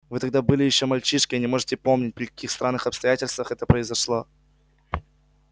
вы тогда были ещё мальчишкой и не можете помнить при каких странных обстоятельствах это произошло